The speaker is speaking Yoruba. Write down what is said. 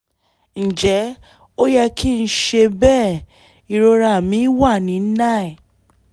ǹjẹ́ ó yẹ kí n ṣe bẹ́ẹ̀? ìrora mi wà ní nine